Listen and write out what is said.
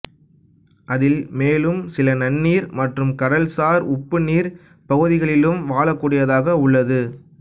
அதில் மேலும் சில நன்னீர் மற்றும் கடல்சார் உப்புநீர் பகுதிகளிலும் வாழக்கூடியதாக உள்ளது